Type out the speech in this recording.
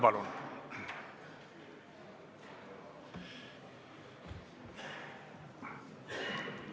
Palun!